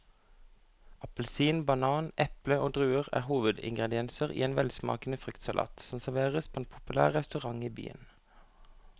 Appelsin, banan, eple og druer er hovedingredienser i en velsmakende fruktsalat som serveres på en populær restaurant i byen.